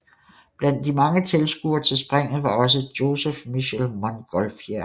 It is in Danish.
Blandt de mange tilskuere til springet var også Joseph Michel Montgolfier